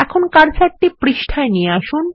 এখন কার্সারটি পৃষ্ঠায় নিয়ে আসুন